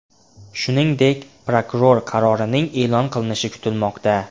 Shuningdek, prokuror qarorining e’lon qilinishi kutilmoqda.